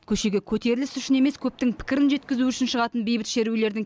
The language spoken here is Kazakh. көшеге көтеріліс үшін емес көптің пікірін жеткізу үшін шығатын бейбіт шерулердің